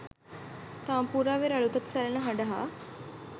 තාම්පූරාවේ රළු තත් සැලෙන හඬ හා